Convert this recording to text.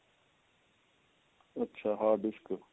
ਅੱਛਾ hard disk